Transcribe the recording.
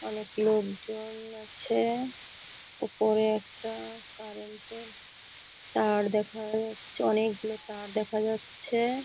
অনেক লোক জন আছে | ওপরে একটা কারেন্ট -এর তার দেখা যাচ্ছে অনেকগুলো তার দেখা যাচ্ছে ।